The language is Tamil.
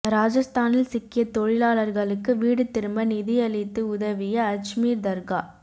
இராஜஸ்தானில் சிக்கிய தொழிலாளர்களுக்கு வீடு திரும்ப நிதியளித்து உதவிய அஜ்மீர் தர்கா